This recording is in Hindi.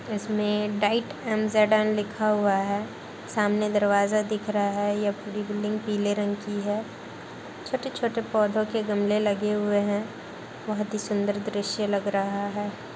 इसमें डाइट एम.जेड.एम. लिखा हुआ है। सामने दरवाजा दिख रहा है। यह पूरी बिल्डिंग पीले रंग की है। छोटे-छोटे पौधों के गमले लगे हुए हैं। बहोत ही सुंदर दृश्य लग रहा है।